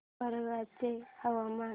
वरंगल चे हवामान